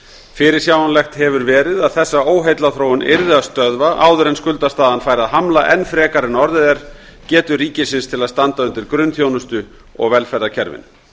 fyrirsjáanlegt hefur verið að þessa óheillaþróun yrði að stöðva áður en skuldastaðan færi að hamla enn frekar en orðið er getu ríkisins til að standa undir grunnþjónustu og velferðarkerfinu